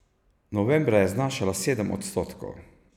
Novembra je znašala sedem odstotkov.